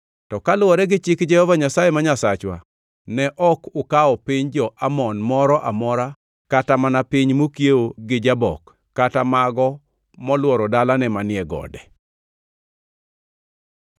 To kaluwore gi chik Jehova Nyasaye ma Nyasachwa, ne ok ukawo piny jo-Amon moro amora kata mana piny mokiewo gi Jabok kata mago molworo dalane manie gode.